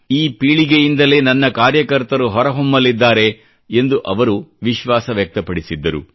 ಈ ಪೀಳಿಗೆಯಿಂದಲೇ ನನ್ನ ಕಾರ್ಯಕರ್ತರು ಹೊರ ಹೊಮ್ಮಲಿದ್ದಾರೆ ಎಂದು ಅವರು ವಿಶ್ವಾಸ ವ್ಯಕ್ತಪಡಿಸಿದ್ದರು